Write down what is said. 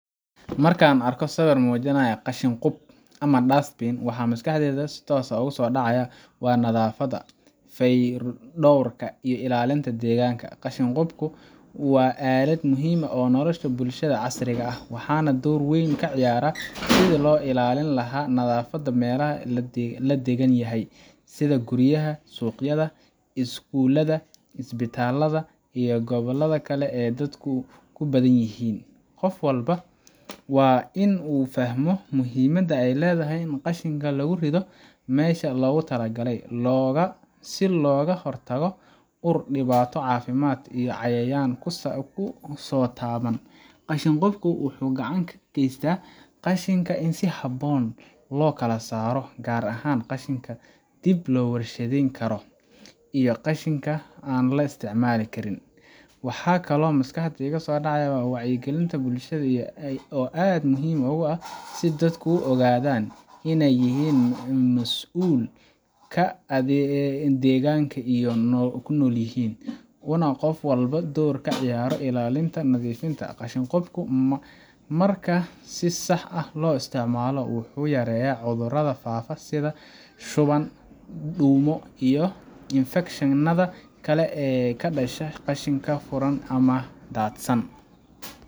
Marka aan arko sawir muujinaya qashin-qub ama dustbin, waxa maskaxdayda si toos ah ugu soo dhacaya nadaafadda, fayodhowrka, iyo ilaalinta deegaanka. Qashin qubku waa aalad muhiim u ah nolosha bulshada casriga ah, waxaana uu door weyn ka ciyaaraa sidii loo ilaalin lahaa nadaafadda meelaha la deggan yahay sida guryaha, suuqyada, iskuulada, isbitaalada, iyo goobaha kale ee dadku ku badan yihiin. Qof walba waa in uu fahmo muhiimada ay leedahay in qashinka lagu rido meesha loogu talagalay, si looga hortago ur, dhibaato caafimaad, iyo inay cayayaan ku soo bataan. Qashin qubku wuxuu gacan ka geystaa in qashinka si habboon loo kala saaro, gaar ahaan qashinka dib loo warshadeyn karo iyo qashinka aan la isticmaali karin. Waxaa kaloo maskaxda ku soo dhacaysa wacyigelinta bulshada oo aad muhiim u ah si dadku u ogaadaan in ay yihiin masuul ka ah deegaanka ay ku nool yihiin, uuna qof walba door ka ciyaaro ilaalinta nadiifnimada. Qashin qubku marka si sax ah loo isticmaalo, wuxuu yareeyaa cudurrada faafa sida shuban, duumo, iyo infekshanada kale ee ka dhasha qashinka furan ama daadsan.